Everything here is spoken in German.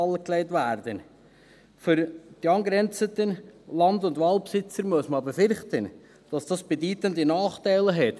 Man muss befürchten, dass dies für die angrenzenden Land- und Waldbesitzer bedeutende Nachteile hat.